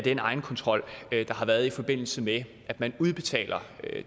egenkontrol der har været i forbindelse med at man udbetaler